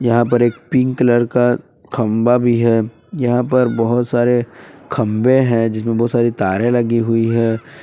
यहां पर एक पिंक कलर का खंबा भी है यहां पर बहुत सारे खंबे हैं जिसमें बहुत सारी तारे लगी हुई है।